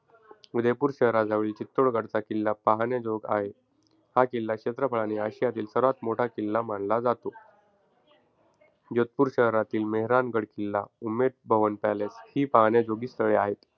उदयपूर शहराजवळील चित्तोडगडचा किल्ला पहाण्याजोगा आहे. हा किल्ला क्षेत्रफळाने अशियातील सर्वात मोठा किल्ला मानला जातो. जोधपूर शहरातील मेहरानगड किल्ला, उम्मेद भवन पॅलेस ही पहाण्याजोगी स्थळे आहेत.